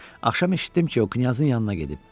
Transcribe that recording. Axşam eşitdim ki, o knyazın yanına gedib.